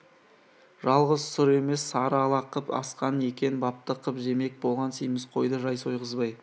жалғыз сұр емес сары ала қып асқан екен бапты қып жемек болған семіз қойды жай сойғызбай